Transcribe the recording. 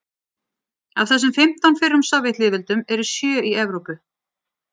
af þessum fimmtán fyrrum sovétlýðveldum eru sjö í evrópu